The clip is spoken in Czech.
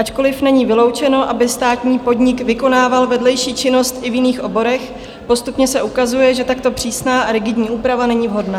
Ačkoli není vyloučeno, aby státní podnik vykonával vedlejší činnost i v jiných oborech, postupně se ukazuje, že takto přísná a rigidní úprava není vhodná.